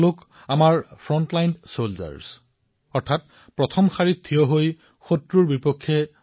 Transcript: এওঁলোক হল আমাৰ সন্মুখৰ শাৰীৰ সৈন্য